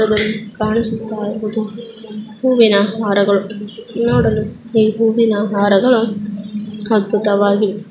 ಈ ಚಿತ್ರದಲ್ಲಿ ಕಾಣಿಸುತ ಇರುವುದು ಹೂವಿನ ಹಾರಗಳು ನೋಡಲು ಈ ಹೂವಿನ ಹಾರಗಳು ಅದ್ಭುತವಾಗಿ--